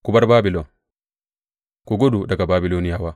Ku bar Babilon, ku gudu daga Babiloniyawa!